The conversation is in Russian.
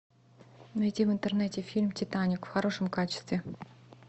найди в интернете фильм титаник в хорошем качестве